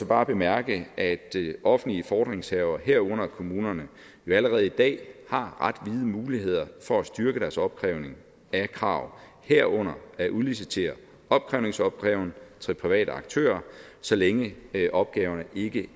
bare bemærke at offentlige fordringshavere herunder kommunerne allerede i dag har ret vide muligheder for at styrke deres opkrævning af krav herunder at udlicitere opkrævningsopgaven til private aktører så længe opgaverne ikke